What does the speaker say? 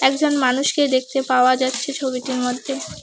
দু'জন মানুষকে দেখতে পাওয়া যাচ্ছে ছবিটির মধ্যে।